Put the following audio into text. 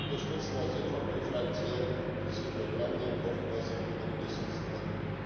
Wir unterstützen als EVP Fraktion diese Programme und hoffen, dass sie gut umgesetzt werden.